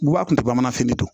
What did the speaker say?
Guwa kun te bamananfini de don